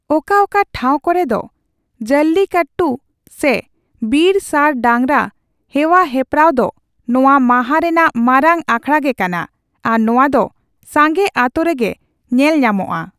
ᱚᱠᱟ ᱚᱠᱟ ᱴᱷᱟᱣ ᱠᱚᱨᱮᱫᱚ, ᱡᱚᱞᱞᱤᱠᱚᱴᱴᱩ ᱥᱮ ᱵᱤᱨ ᱥᱟᱸᱴ ᱰᱟᱝᱨᱟ ᱦᱮᱣᱟ ᱦᱮᱯᱨᱟᱣ ᱫᱚ ᱱᱚᱣᱟ ᱢᱟᱦᱟ ᱨᱮᱱᱟᱜ ᱢᱟᱨᱟᱝ ᱟᱠᱷᱲᱟ ᱜᱮ ᱠᱟᱱᱟ ᱟᱨ ᱱᱚᱣᱟ ᱫᱚ ᱥᱟᱸᱜᱮ ᱟᱛᱳ ᱨᱮᱜᱮ ᱧᱮᱞᱧᱟᱢᱚᱜᱼᱟ ᱾